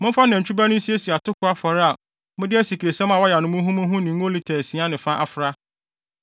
Momfa nantwi ba no nsiesie atoko afɔre a mode asikresiam a wɔayam no muhumuhu ne ngo lita asia ne fa afra,